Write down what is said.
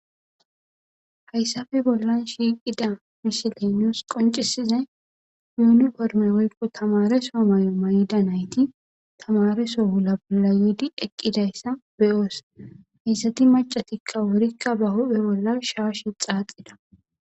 Hayssafe bollan shiiqida misilenoos qoncisize yuuni porme woykko tamareso may7o may7ida nayti tamareso wula bolla yiidi eqqidayssa beyoos hayssati macatikka wurikka ba huphe bollan shaashi xaaxida.